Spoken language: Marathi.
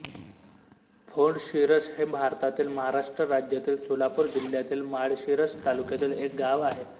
फोंडशिरस हे भारतातील महाराष्ट्र राज्यातील सोलापूर जिल्ह्यातील माळशिरस तालुक्यातील एक गाव आहे